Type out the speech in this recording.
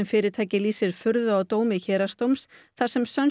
fyrirtækið lýsir furðu á dómi Héraðsdóms þar sem